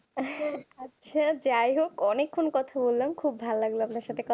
আচ্ছা যাই হোক অনেকক্ষণ কথা বললাম খুব ভালো লাগলো আপনার সাথে কথা বলে